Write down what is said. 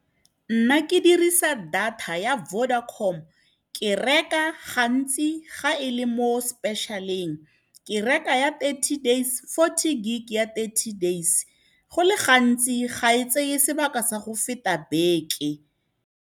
Nna ke dirisa data ya Vodacom, ke reka gantsi ga e le mo special-eng. Ke reka ya forty gig ya thirty days, go le gantsi ga e tseye sebaka sa go feta beke.